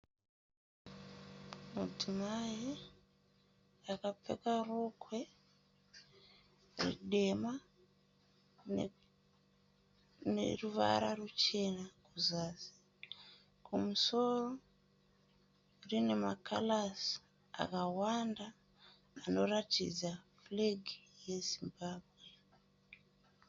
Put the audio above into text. Mudzimai akapfeka rokwe dema rineruvara ruchena kuzasi. Kumusoro rine makarazi akawanda anoratidza furegi yeZimbabwe.